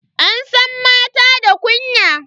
An san mata da kunya.